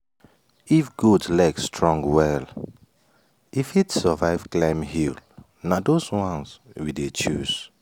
if goat leg strong well e fit survive climb hill na those ones we dey choose.